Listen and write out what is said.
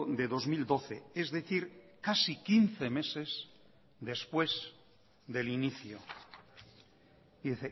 de dos mil doce es decir casi quince meses después del inicio y